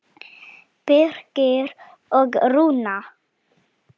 Birgir og Rúna.